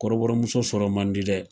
Kɔrɔbɔrɔmuso sɔrɔ man di dɛ.